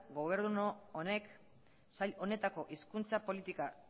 gobernu honek sail honetako hizkuntza politika